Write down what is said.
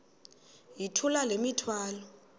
yithula le mithwalo